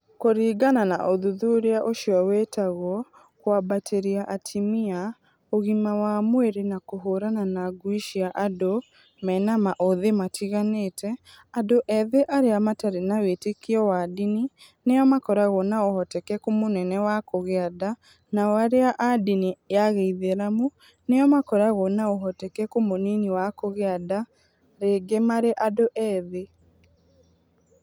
Kũringana na ũthuthuria ũcio wĩtagwo:k ũambatĩria atumia, ũgima wa mwiri na k ũhurana na ng ũi cia and ũ me na ma ũ ũthĩ matiganĩte , andũ ethĩ arĩa matarĩ na wĩtĩkio wa ndini nĩo makoragwo na ũhotekeku mũnene wa kũgĩa nda, nao arĩa a ndini ya Gĩithĩramu nĩo makoragwo na ũhotekeku mũnini wa kũgĩa nda rĩngĩ marĩ andũ ethĩ.